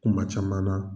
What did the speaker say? Kuma caman na